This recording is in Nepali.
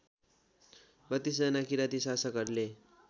३२जना किराँती शासकहरूले